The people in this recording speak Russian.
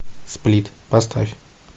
сплит поставь